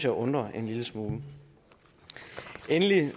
undrer mig en lille smule endelig